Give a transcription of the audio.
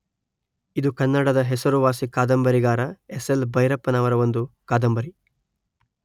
ಇದು ಕನ್ನಡದ ಹೆಸರುವಾಸಿ ಕಾದಂಬರಿಗಾರ ಎಸ್ ಎಲ್ ಭೈರಪ್ಪನವರ ಒಂದು ಕಾದಂಬರಿ